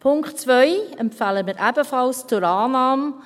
Punkt 2 empfehlen wir ebenfalls zur Annahme.